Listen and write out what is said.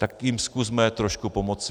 Tak jim zkusme trošku pomoci.